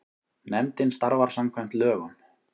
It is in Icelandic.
Nefndin starfar samkvæmt lögum.